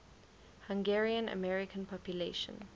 hungarian american population